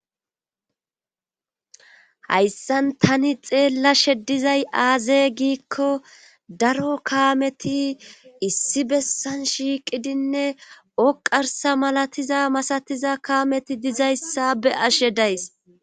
hayssan tani xeellashe dizay aazey giikko daro kaameti issi bessan shiiqidinne oqarsa malatiza masatiza kaameti dizayssa be'ashe days